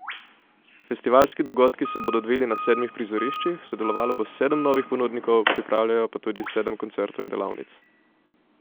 Festivalski dogodki se bodo odvili na sedmih prizoriščih, sodelovalo bo sedem novih ponudnikov, pripravljajo pa tudi po sedem koncertov in delavnic.